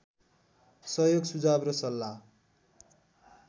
सहयोग सुझाव र सल्लाह